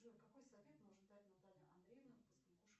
джой какой совет может дать наталья андреевна